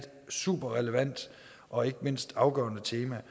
super relevant og ikke mindst afgørende tema